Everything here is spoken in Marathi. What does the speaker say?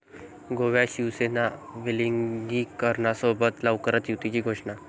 गोव्यात शिवसेना वेलिंगकरांसोबत, लवकरच युतीची घोषणा